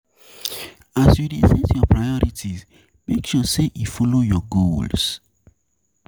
As you dey set your prorities, make sure sey e follow your goals